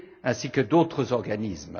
ainsi que d'autres organismes.